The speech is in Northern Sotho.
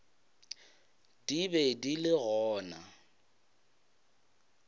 di be di le gona